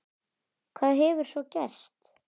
Hvað hefur svo gerst?